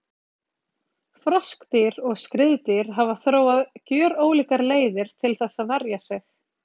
Froskdýr og skriðdýr hafa þróað gjörólíkar leiðir til þess að verja sig.